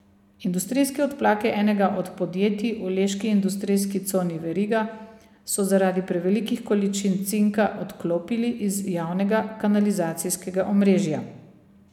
Industrijske odplake enega od podjetij v leški industrijski coni Veriga so zaradi prevelikih količin cinka odklopili iz javnega kanalizacijskega omrežja.